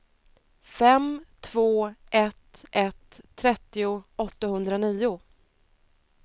fem två ett ett trettio åttahundranio